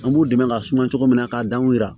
An b'u dɛmɛ ka suma cogo min na k'a danw yira